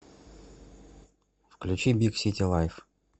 включи биг сити лайф